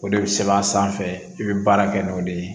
O de bɛ sɛbɛn a sanfɛ i bɛ baara kɛ n'o de ye